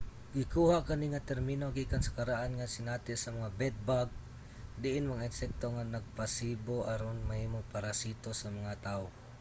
gikuha kani nga termino gikan sa karaan nga sinati sa mga bed-bug diin mga insekto nga nagpasibo aron mahimong parasito sa mga tawo